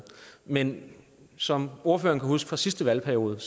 men som ordføreren kan huske fra sidste valgperiode